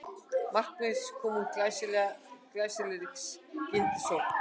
Markið kom úr glæsilegri skyndisókn